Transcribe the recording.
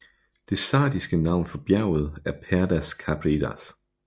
Det sardiske navn for bjerget er Perdas Caprias